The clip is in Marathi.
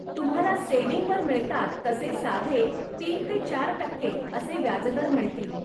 तुम्हाला सेव्हिंग वर मिळतात तसे साधे तीन ते चार टक्के असे व्याजदर मिळतील.